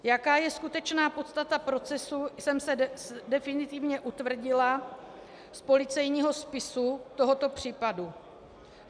Jaká je skutečná podstata procesu, jsem se definitivně utvrdila z policejního spisu tohoto případu.